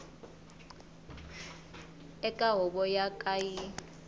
eka huvo yo ka yi